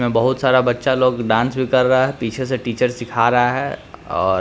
बहुत सारा बच्चा लोग डांस भी कर रहा है पीछे से टीचर सिखा रहा है और --